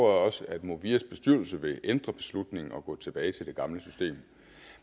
også at movias bestyrelse vil ændre beslutningen og gå tilbage til det gamle system